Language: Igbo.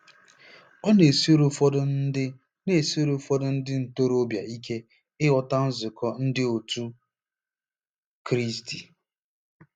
Ọ na-esiri ụfọdụ ndị na-esiri ụfọdụ ndị ntorobịa ike ịghọta nzukọ Ndị òtù Kristi.